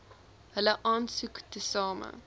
hulle aansoek tesame